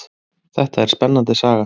Þetta er spennandi saga.